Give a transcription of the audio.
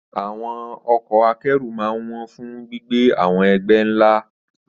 Àwọn ọkọ̀ akẹ́rù máa ń wọ́n fún gbígbé àwọn ẹgbẹ́ ńlá.